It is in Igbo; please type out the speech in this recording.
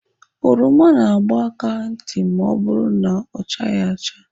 Oroma na-agba aka ntị ma ọ bụrụ na ọ chaghị acha.